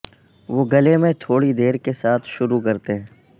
وہ گلے میں تھوڑی دیر کے ساتھ شروع کرتے ہیں